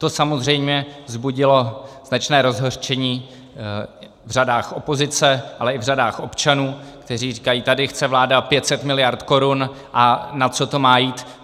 To samozřejmě vzbudilo značné rozhořčení v řadách opozice, ale i v řadách občanů, kteří říkají, tady chce vláda 500 miliard korun - a na co to má jít?